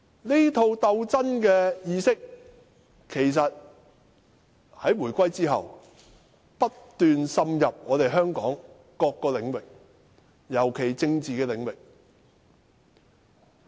這套鬥爭意識，在回歸後不斷滲入香港各個領域，尤其是政治領域。